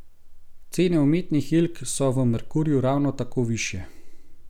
Cene umetnih jelk so v Merkurju ravno tako višje.